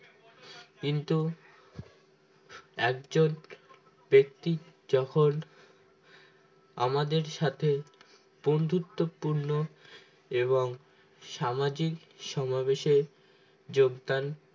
কিন্তু একজন ব্যক্তি যখন আমাদের সাথে বন্ধুত্বপূর্ণ এবং সামাজিক সমাবেশে যোগদান